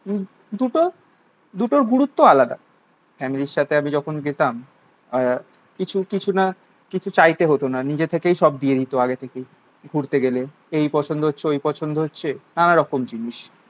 দু দুটো দুটোর গুরুত্ব আলাদা। ফ্যামিলির সাথে আগে যখন যেতাম আহ কিছু কিছু না কিছু চাইতে হতো না, নিজের থেকেই সব দিয়ে দিত আগে থেকেই ঘুরতে গেলে। এই পছন্দ হচ্ছে ওই পছন্দ হচ্ছে নানা রকমের জিনিস।